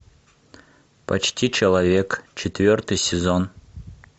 почти человек четвертый сезон